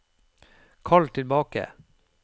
kall tilbake